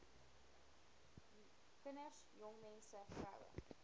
kinders jongmense vroue